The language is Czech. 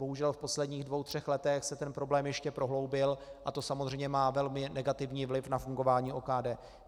Bohužel v posledních dvou třech letech se ten problém ještě prohloubil a to samozřejmě má velmi negativní vliv na fungování OKD.